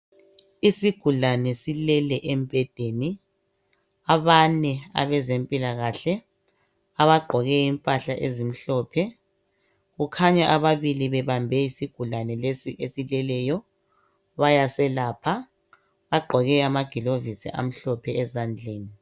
Isigulane silele embhedeni abane abezempilakahle abagqoke impahla ezimhlophe kukhanya ababili bebambe isigulane lesi esileleyo bayaselapha bagqoke amagilovisi amhlophe ezandleni.